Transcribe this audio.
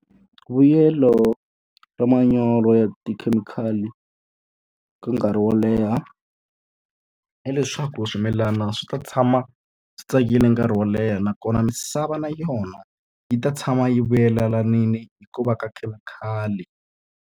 Vuyelo ra manyoro ya tikhemikhali ka nkarhi wo leha, hileswaku swimilana swi ta tshama swi tsakile nkarhi wo leha nakona misava na yona, yi ta tshama yi vuyelelanile hi ku va ka khemikhali.